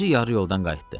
Özü yarı yoldan qayıtdı.